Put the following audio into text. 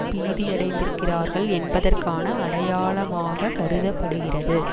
பீதியடைந்திருக்கிறார்கள் என்பதற்கான அடையாளமாக கருத படுகிறது